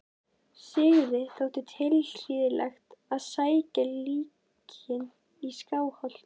Sigurði þótti tilhlýðilegt að sækja líkin í Skálholt.